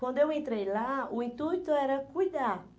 Quando eu entrei lá, o intuito era cuidar.